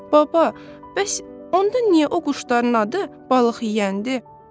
Baba, bəs onda niyə o quşların adı balıq yeyəndi?